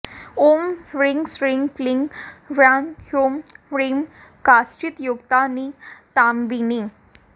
ॐ ह्रीं श्रीं क्रीं ह्सौः हूं ह्रीं काञ्चीयुक्तनितम्बिनी